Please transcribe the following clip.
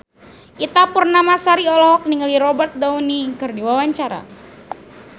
Ita Purnamasari olohok ningali Robert Downey keur diwawancara